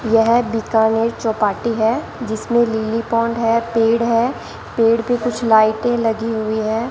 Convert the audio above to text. यह बीकानेर चौपाटी है जिसमें लिलीपोंड है पेड़ है पेड़ पर कुछ लाइटें लगी हैं।